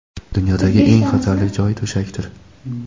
Dunyodagi eng xatarli joy to‘shakdir.